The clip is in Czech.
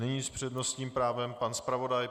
Nyní s přednostním právem pan zpravodaj.